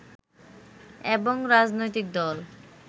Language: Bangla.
এবং রাজনৈতিক দল